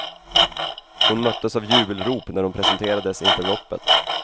Hon möttes av jubelrop när hon presenterades inför loppet.